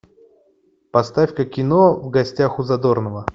поставь ка кино в гостях у задорнова